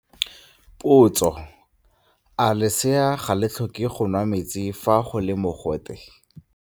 Potso - A lesea ga le tlhoke go nwa metsi fa go le mogote?